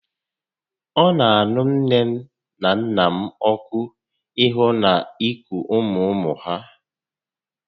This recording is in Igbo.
Ọ nà aṅụ nné na nnà m ọkụ ịhụ na iku ụmụ ụmụ ha